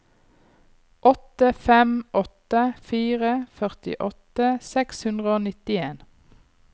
åtte fem åtte fire førtiåtte seks hundre og nittien